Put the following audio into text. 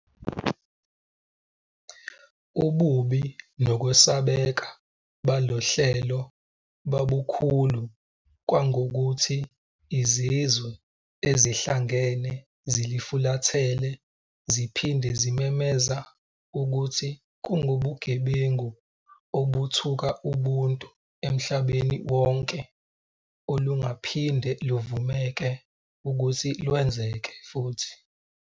Ububi nokwesabeka balohlelo babukhulu kangangokuthi Izizwe Ezihlangene zilufulathele ziphinde zimemeza ukuthi kungubugebengu obuthuka ubuntu emhlabeni wonke olungaphinde luvumeke ukuthi lwenzeke futhi.